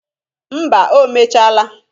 Mba o mechaala